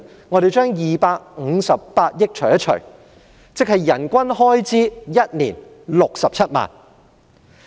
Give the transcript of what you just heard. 我們把258億元除以人數，便會得出1年的人均開支67萬元。